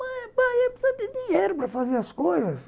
Pai pai, ela precisa de dinheiro para fazer as coisas.